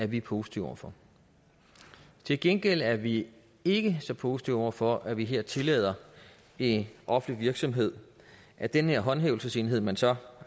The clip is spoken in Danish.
vi positive over for til gengæld er vi ikke så positive over for at man her tillader en offentlig virksomhed at den her håndhævelsesenhed man så